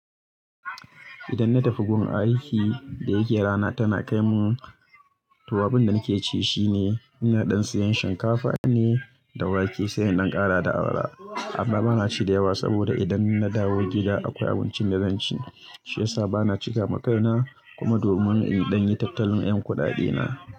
Idan na tafi gun aikin da yake rana tana kai mun. To abun da nake ci shine, ina ɗan siyan shinkafa ne da wake, sai jn ɗan ƙara da awara. Amma bana ci da yawa saboda idan na dawo gida akwai abincin da zan ci. Shi yasa bana cika ma kaina. Kuma domin in ɗan yi tattalin ƴan kuɗaɗe na.